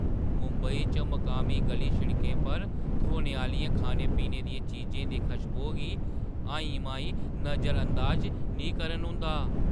मुंबई च मकामी ग'ली-शिड़कें पर ध्होने आह्‌लियें खाने-पीने दियें चीजें दी खशबोऽ गी हाईं-माईं नजरअंदाज निं करन होंदा।